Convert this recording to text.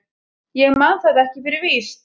Ég man það ekki fyrir víst.